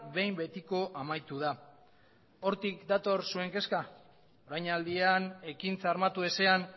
behin betiko amaitu da hortik dator zuen kezka orainaldian ekintza armatu ezean